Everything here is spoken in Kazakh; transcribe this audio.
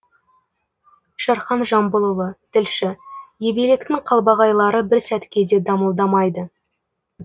шерхан жамбылұлы тілші ебелектің қалбағайлары бір сәтке де дамылдамайды